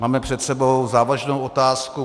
Máme před sebou závažnou otázku.